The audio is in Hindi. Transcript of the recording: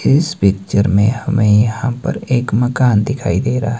इस पिक्चर में हमें यहां पर एक मकान दिखाई दे रहा --